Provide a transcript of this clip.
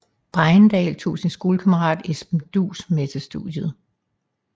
Bregendal tog sin skolekammerat Esben Duus med til studiet